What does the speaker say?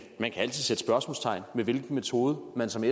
man kan altid sætte spørgsmålstegn ved hvilken metode man som